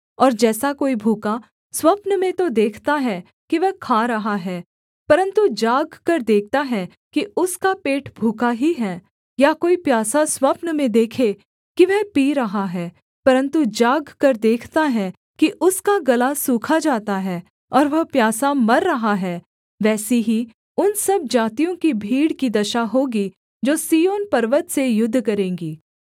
और जैसा कोई भूखा स्वप्न में तो देखता है कि वह खा रहा है परन्तु जागकर देखता है कि उसका पेट भूखा ही है या कोई प्यासा स्वप्न में देखें की वह पी रहा है परन्तु जागकर देखता है कि उसका गला सूखा जाता है और वह प्यासा मर रहा है वैसी ही उन सब जातियों की भीड़ की दशा होगी जो सिय्योन पर्वत से युद्ध करेंगी